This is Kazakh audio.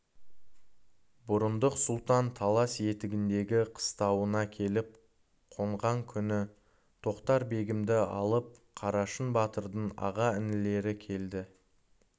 бұрындық сұлтан талас етегіндегі қыстауына келіп қонған күні тоқтар-бегімді алып қарашың батырдың аға-інілері келді